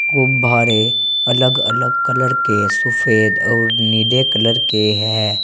गुब्भारे अलग अलग कलर के सुफेद और नीले कलर के हैं।